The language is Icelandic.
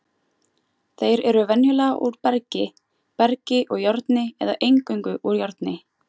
Þeir eru venjulega úr bergi, bergi og járni eða eingöngu úr járni.